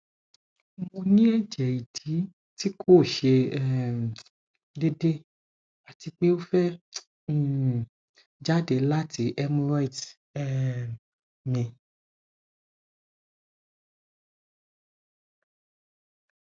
mo ni eje idi ti ko se um deede ati pe o fe um jade lati hemorrhoids um mi